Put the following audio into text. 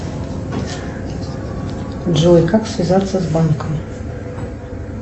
джой как связаться с банком